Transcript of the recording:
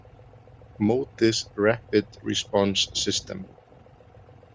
MODIS Rapid Response System